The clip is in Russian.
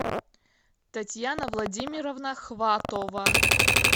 татьяна владимировна хватова